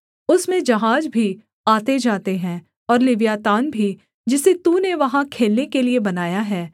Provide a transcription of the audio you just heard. उसमें जहाज भी आतेजाते हैं और लिव्यातान भी जिसे तूने वहाँ खेलने के लिये बनाया है